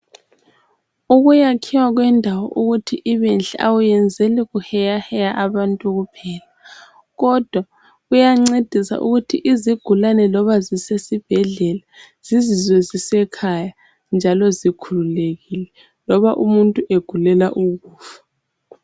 Ukuyakhiwa kwendawo ukuthi ibenhle awuyenzeli kuheyaheya abantu kuphela kodwa kuyancedisa ukuthi izigulane loba zisesibhedlela zizizwe zisekhaya njalo zikhululekile loba umuntu egulela ukufa.